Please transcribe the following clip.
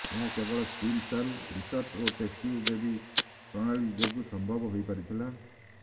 ଏହା କେବଳ stem cell research ଓ ଟେଷ୍ଟ୍ୟୁ ବେବି ପ୍ରଣାଳୀ ଯୋଗୁ ସମ୍ଭବ ହୋଇପାରିଥିଲା